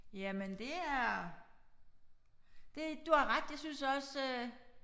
Jamen det er. Det du har ret jeg synes også øh